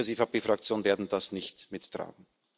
Wir als EVP Fraktion werden das nicht mittragen.